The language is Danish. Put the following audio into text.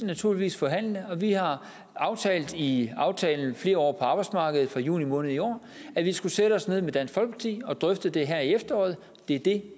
naturligvis forhandle om og vi har aftalt i aftalen flere år på arbejdsmarkedet fra juni måned i år at vi skulle sætte os ned sammen med dansk folkeparti og drøfte det her i efteråret det er det